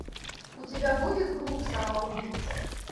у тебя будет клуб самоубийц